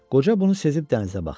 Qoca bunu sezib dənizə baxdı.